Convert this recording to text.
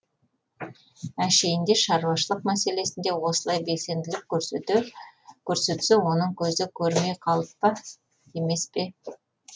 әншейінде шаруашылық мәселесінде осылай белсенділік көрсетсе оның көзі көрмей қалып па демес пе